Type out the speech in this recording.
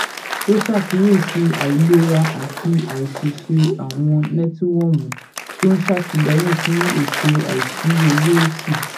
ó ṣàkíyèsí àìlera àti àìṣeéṣe àwọn nẹtiwọọmù tó ń ṣètìléyìn fún ètò àìsí owó ó sì